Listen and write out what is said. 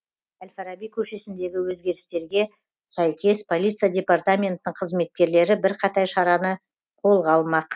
әл фараби көшесіндегі өзгерістерге сәйкес полиция департаментінің қызметкерлері бірқатар шараны қолға алмақ